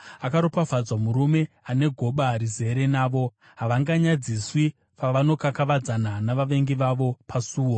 Akaropafadzwa murume ane goba rizere navo. Havanganyadziswi pavanokakavadzana navavengi vavo pasuo.